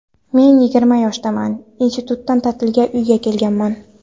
Men yigirma yoshdaman, institutdan ta’tilga uyga kelganman.